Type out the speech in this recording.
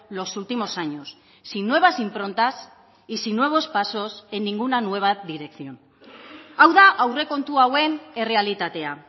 los últimos años sin nuevas improntas y sin nuevos pasos en ninguna nueva dirección hau da aurrekontu hauen errealitatea